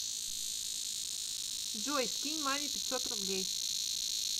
джой скинь маме пятьсот рублей